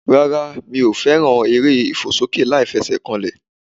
Rárá mi ò fẹ́ràn eré ìfòsókè láìfesèkanlè